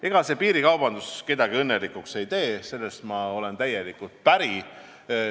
Ega see piirikaubandus kedagi õnnelikuks ei tee, selles olen ma teiega täielikult päri.